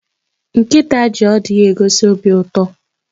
Nkịta ji ọdụ ya egosi obi ụtọ.